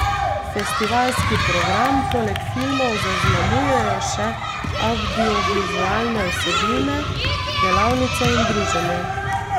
Festivalski program poleg filmov zaznamujejo še avdiovizualne vsebine, delavnice in druženje.